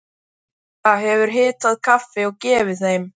Edda hefur hitað kaffi og gefið þeim.